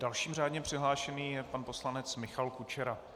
Dalším řádně přihlášeným je pan poslanec Michal Kučera.